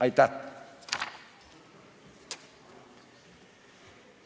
Aitäh!